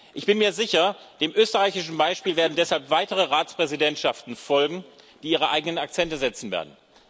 Ich bin mir sicher Dem österreichischen Beispiel werden deshalb weitere Ratspräsidentschaften folgen, die ihre eigenen Akzente setzen werden.